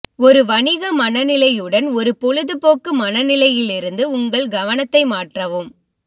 ஒரு வணிக மனநிலையுடன் ஒரு பொழுதுபோக்கு மனநிலையிலிருந்து உங்கள் கவனத்தை மாற்றவும்